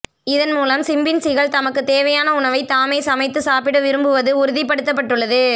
இதன் மூலம் சிம்பின்சிகள் தமக்கு தேவையான உணவை தாமே சமைத்து சாப்பிட விரும்புவது உறுதிப்படுத்தப்பட்டுள்ளது